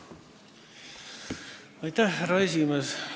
Härra esimees!